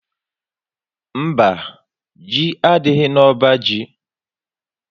Mba, Ji adịghị na ọbá jị